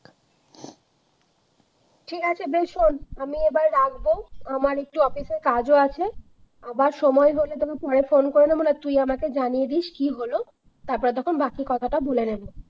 ঠিক আছে বেস শোন আমি এবার রাখবো আমার একটু office এর কাজও আছে আবার সময় হলে তোকে পরে phone করে নেব না হয় তুই আমাকে জানিয়ে দিস কি হলো তারপরে তখন বাকি কথাটা বলে নেব।